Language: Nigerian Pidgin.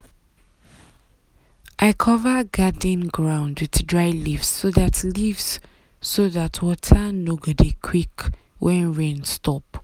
i cover garden ground with dey leaves so dat leaves so dat water no go dry quick when rain stop.